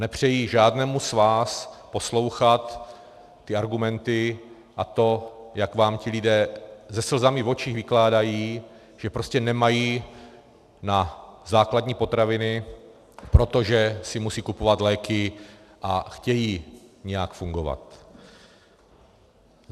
Nepřeji žádnému z vás poslouchat ty argumenty a to, jak vám ti lidé se slzami v očích vykládají, že prostě nemají na základní potraviny, protože si musí kupovat léky a chtějí nějak fungovat.